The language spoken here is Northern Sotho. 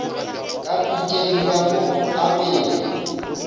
ka pitšeng ka mo apea